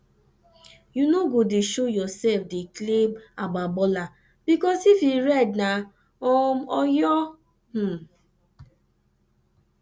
no go dey showoff dey claim agba baller bikos if e red na um oyo um